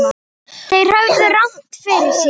Þeir höfðu rangt fyrir sér.